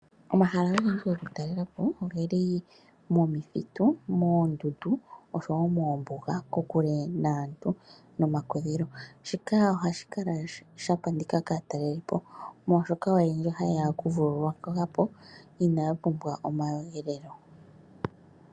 Omahala agehe goku talela po ogeli momithitu, moondundu oshowo moombuga, kokule naantu, nomakudhilo. Shika ohashi kala sha pandika kaataleli po molwaashoka oyendji ohaye ya oku vululukwa po, inaya pumbwa omakudhilo.